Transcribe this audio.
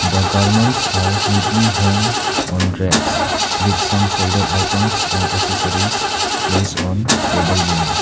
the garments are neatly hanged on racks with some folded items and accessories place on table below.